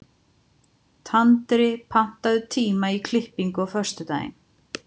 Tandri, pantaðu tíma í klippingu á föstudaginn.